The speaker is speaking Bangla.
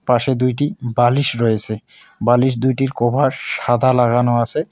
পাশে দুইটি বালিশ রয়েছে বালিশ দুইটির কভার সাদা লাগানো আছে।